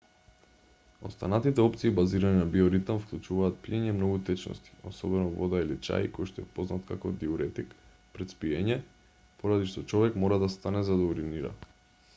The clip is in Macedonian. останатите опции базирани на биоритам вклучуваат пиење многу течности особено вода или чај којшто е познат како диуретик пред спиење поради што човек мора да стане за да уринира